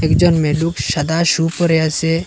একজন মেয়ে লুপ সাদা শু পড়ে আছে।